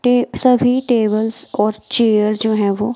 टे सभी टेबल्स और चेयर जो है वो --